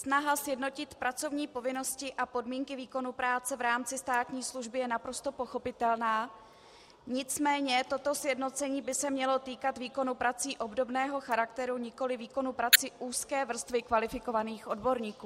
Snaha sjednotit pracovní povinnosti a podmínky výkonu práce v rámci státní služby je naprosto pochopitelná, nicméně toto sjednocení by se mělo týkat výkonu prací obdobného charakteru, nikoli výkonu prací úzké vrstvy kvalifikovaných odborníků.